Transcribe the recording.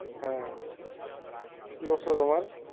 হ্যাঁ কি অবস্থা তোমার?